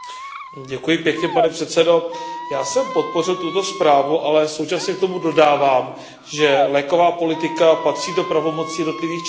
Pane předsedající, já jsem podpořil tuto zprávu, ale současně k tomu dodávám, že léková politika patří do pravomocí jednotlivých členských států.